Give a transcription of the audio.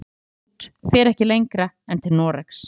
Það sem kemst út fer ekki lengra en til Noregs.